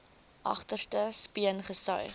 agterste speen gesuig